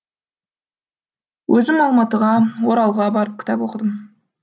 өзім алматыға оралға барып кітап оқыдым